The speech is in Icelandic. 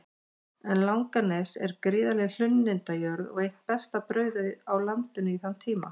En Langanes er gríðarleg hlunnindajörð og eitt besta brauðið á landinu í þann tíma.